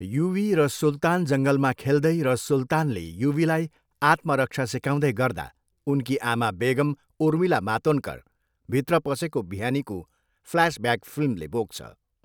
युवी र सुल्तान जङ्गलमा खेल्दै र सुल्तानले युवीलाई आत्मरक्षा सिकाउँदै गर्दा उनकी आमा बेगम, उर्मिला मातोन्डकर, भित्र पसेको बिहानीको फ्ल्यासब्याक फिल्मले बोक्छ।